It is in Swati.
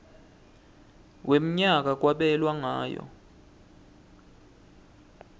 wemnyaka kwabelwa ngayo